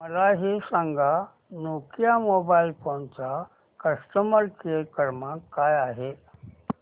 मला हे सांग नोकिया मोबाईल फोन्स चा कस्टमर केअर क्रमांक काय आहे